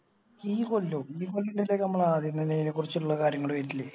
ഈ കൊല്ലോ ഈ കൊല്ല ആദ്യം തന്നെ ഈനെക്കുറിച്ചിള്ളെ കാര്യങ്ങള് വരില്ലേ